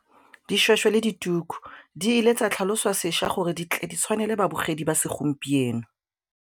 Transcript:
Dišwešwe le dituku di ile tsa tlhaloswa sešwa gore di tshwanele babogedi ba segompieno.